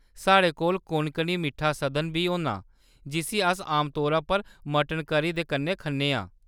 साढ़े कोल कोंकणी मिट्ठा संदन बी होना जिस्सी अस आमतौरा पर मटन करी दे कन्नै खन्ने आं ।